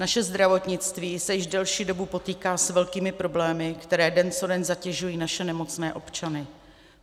Naše zdravotnictví se již delší dobu potýká s velkými problémy, které den co den zatěžují naše nemocné občany.